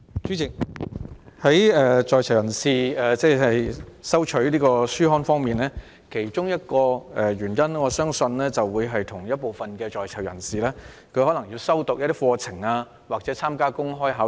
主席，在囚人士需要收取書刊，原因之一相信是他們正在修讀某些課程或準備參加公開考試。